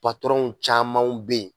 camanw bɛ yen